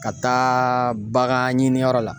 Ka taa bagan ɲini yɔrɔ la